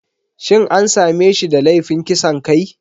Shin an same shi da laifin kisan kai?